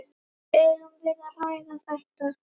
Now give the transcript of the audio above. Eigum við að ræða þetta?